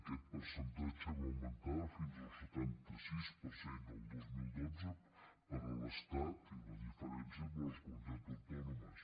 aquest percentatge va augmentar fins al setanta sis per cent el dos mil dotze per a l’estat i la diferència per a les comunitats autònomes